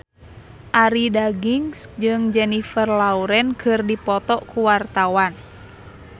Arie Daginks jeung Jennifer Lawrence keur dipoto ku wartawan